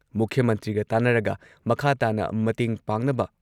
ꯃꯨꯈ꯭꯭ꯌ ꯃꯟꯇ꯭ꯔꯤꯒ ꯇꯥꯟꯅꯔꯒ ꯃꯈꯥ ꯇꯥꯅ ꯃꯇꯦꯡ ꯄꯥꯡꯅꯕ